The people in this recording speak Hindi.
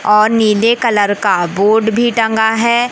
और नीले कलर का बोर्ड भी टंगा है।